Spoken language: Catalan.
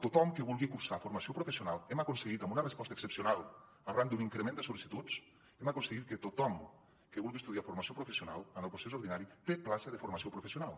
tothom que vulgui cursar formació professional hem aconseguit amb una resposta excepcional arran d’un increment de sol·licituds que tothom que vulgui estudiar formació professional en el procés ordinari tingui plaça de formació professional